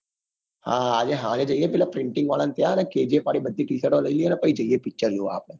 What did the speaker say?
હા અરે સારી જોઈને પેલા printing વાળાને ત્યાં અને kgf વળી બધી ટીશરતો લઇ લૈયે અને પછી જઇયે picture જોવા આપડે.